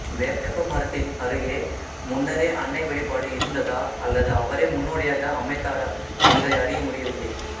வேப்பமரத்தின் அருகே முன்னரே அன்னை வழிபாடு இருந்ததா அல்லது அவரே முன்னோடியாக அமைத்தாரா என்பதை அறிய முடியவில்லை